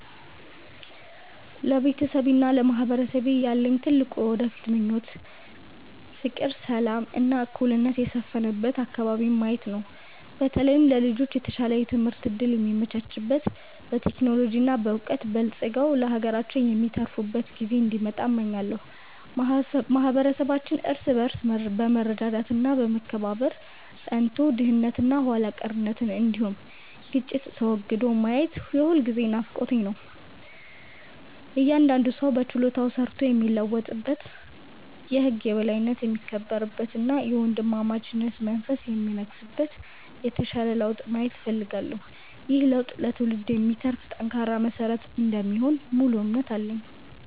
ለቤተሰቤና ለማህበረሰቤ ያለኝ ትልቁ የወደፊት ምኞት ፍቅር፣ ሰላም እና እኩልነት የሰፈነበት አከባቢን ማየት ነው። በተለይም ለልጆች የተሻለ የትምህርት እድል የሚመቻችበት፣ በቴክኖሎጂ እና በዕውቀት በልጽገው ለሀገራቸው የሚተርፉበት ጊዜ እንዲመጣ እመኛለሁ። ማህበረሰባችን እርስ በርስ በመረዳዳት እና በመከባበር ጸንቶ፣ ድህነት እና ኋላ ቀርነት እንዲሁም ግጭት ተወግዶ ማየት የሁልጊዜም ናፍቆቴ ነው። እያንዳንዱ ሰው በችሎታው ሰርቶ የሚለወጥበት፣ የህግ የበላይነት የሚከበርበት እና የወንድማማችነት መንፈስ የሚነግስበት የተሻለ ለውጥ ማየት እፈልጋለሁ። ይህ ለውጥ ለትውልድ የሚተርፍ ጠንካራ መሰረት እንደሚሆን ሙሉ እምነት አለኝ።